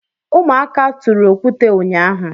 Ụmụaka tụrụ okwute ụnyaahụ.